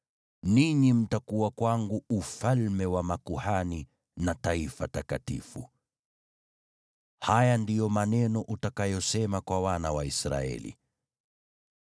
ninyi mtakuwa kwangu ufalme wa makuhani na taifa takatifu.’ Haya ndiyo maneno utakayosema kwa wana wa Israeli.”